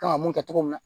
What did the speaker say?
Kan ka mun kɛ cogo min na